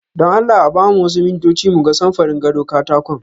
Don Allah a ba mu wasu mintoci mu ga samfurin gado katakon.